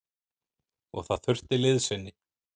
Og það þurfti liðsinni.